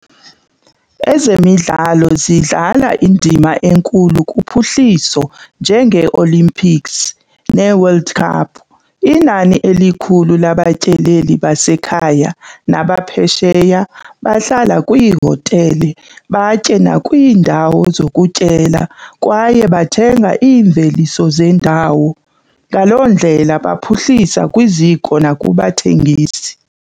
Ezemidlalo zidlala indima enkulu kuphuhliso njengeOlympics nee-world cup. Inani elikhulu labatyeleli basekhaya nabaphesheya bahlala kwiihotele, batye nakwiindawo zokutyela kwaye bathenga iimveliso zendawo. Ngaloo ndlela baphuhlisa kwiziko nakubathengisi.